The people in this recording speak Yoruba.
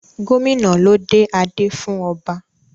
Gómìnà ló dé adé fún ọba.